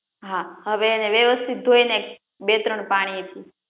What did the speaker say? હા હવે એને વ્યવસ્થિત ધોઇ ને બે ત્રણ પાણી